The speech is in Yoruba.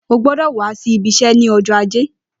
Ó gbọdọ wà si ibi iṣẹ ni ọjọ àjé